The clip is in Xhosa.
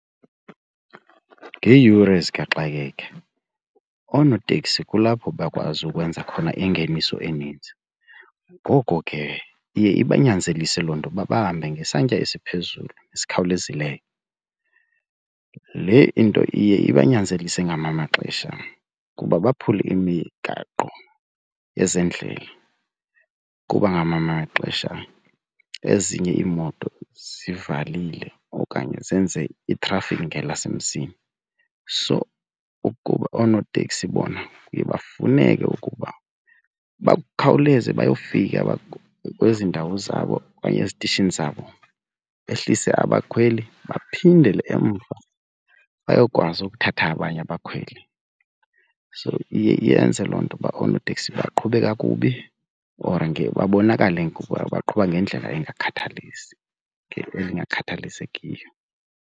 Ngeeyure zikaxakeka oonoteksi kulapho bakwazi ukwenza khona ingeniso eninzi. Ngoko ke iye ibanyanzelise loo nto ukuba bahambe ngesantya esiphezulu esikhawulezileyo. Le into iye ibanyanzelise ngamanye amaxesha ukuba baphule imigaqo yezendlela kuba ngamanye amaxesha ezinye iimoto zivalile okanye zenze itrafikhi ngelasemzini. So kuba oonoteksi bona kuye bafuneke ukuba bakhawuleze bayofika kwezi ndawo zabo okanye ezitishini zabo behlise abakhweli baphindele emva bayokwazi ukuthatha abanye abakhweli. So iye yenze loo nto ukuba oonoteksi baqhube kakubi or babonakale ngokuba baqhuba ngendlela engakhathalisekiyo.